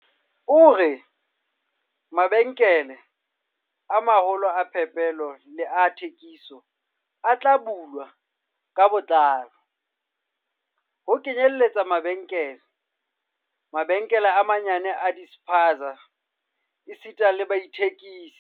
O re, "Mabenkele a ma-holo a phepelo le a thekiso a tla bulwa ka botlalo, ho kenyeletswa le mabenkele, mabenkele a manyenyane a di-spaza esita le baithekisetsi."